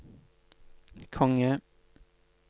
konge